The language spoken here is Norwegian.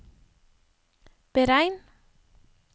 beregn